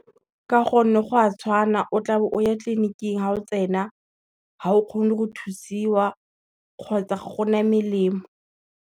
Ka gonne go a tshwana o tla bo o ya tleliniking ga o tsena, ga o kgone go thusiwa kgotsa ga gona melemo.